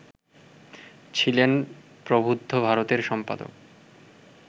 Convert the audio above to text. ছিলেন প্রবুদ্ধ ভারতের সম্পাদক